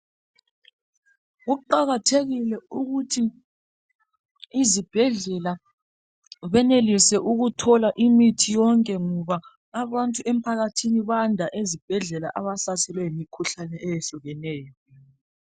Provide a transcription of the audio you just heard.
Kuqakathekile ukuthi ezibhedlela benelise ukuthola imithi yonke ngoba abantu emphakathini bayanda ezibhedlela abahlaselwe yimkhuhlane emzimbeni.